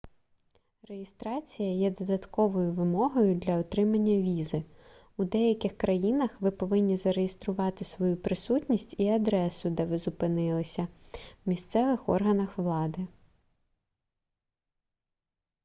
реєстрація є додатковою вимогою для отримання візи у деяких країнах ви повинні зареєструвати свою присутність і адресу де ви зупинилися в місцевих органах влади